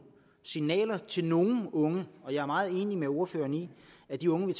signaler til nogle unge og jeg er meget enig med ordføreren i at de unge vi